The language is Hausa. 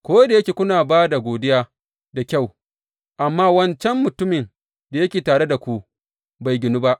Ko da yake kuna ba da godiya da kyau, amma wancan mutumin da yake tare da ku bai ginu ba.